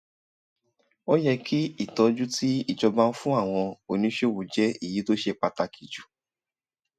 ó yẹ kí ìtọ́jú tí ìjọba ń fún àwọn oníṣòwò jẹ́ èyí tó ṣe pàtàkì jù